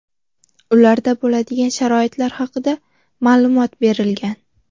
ularda bo‘ladigan sharoitlar haqida ma’lumot berilgan.